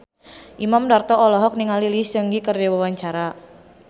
Imam Darto olohok ningali Lee Seung Gi keur diwawancara